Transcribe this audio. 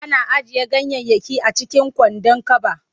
Ana ajiye ganyayyaki a cikin kwandon kaba.